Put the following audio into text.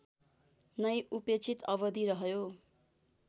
नै उपेक्षित अवधि रहृयो